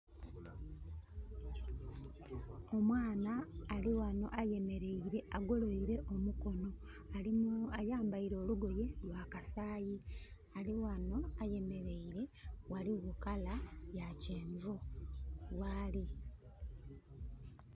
Omwana ali wano ayemereire agoloire omukono ayambaire olugoye lwa kasayi. Ali wano ayemereire waliwo langi ya kyenvu wali